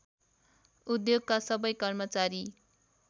उद्योगका सबै कर्मचारी